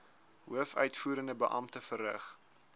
hoofuitvoerende beampte verrig